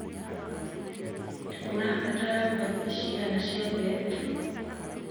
ũrabatara mbagiti cigana cia mbembe.